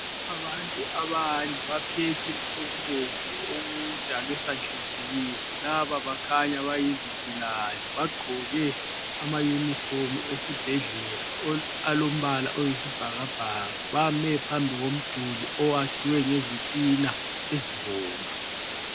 Abantu abane baphethe okubomvu okudalwe sanhliziyo. Laba bakhanya bayizigulane. Bagqoke amayunifomu esibhedlela alombala oyisibhakabhaka. Bame phambi komduli owakhiwe ngezitina ezibomvu.